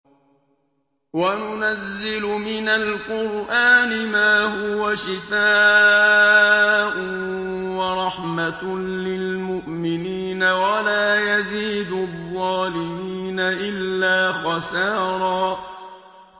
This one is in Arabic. وَنُنَزِّلُ مِنَ الْقُرْآنِ مَا هُوَ شِفَاءٌ وَرَحْمَةٌ لِّلْمُؤْمِنِينَ ۙ وَلَا يَزِيدُ الظَّالِمِينَ إِلَّا خَسَارًا